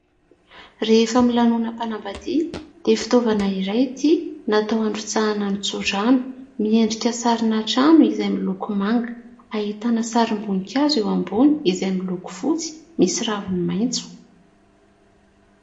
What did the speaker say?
Rehefa milanonam-panambadiana dia fitaovana iray ity natao androtsahana ny tsodrano. Miendrika sarina trano izay miloko manga, ahitana sarim-boninkazo eo ambony izay miloko fotsy misy raviny maitso.